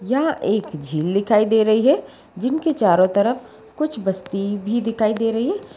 यहां एक झील दिखाई दे रही है। जिनके चारों तरफ कुछ बस्ती भी दिखाई दे रही है।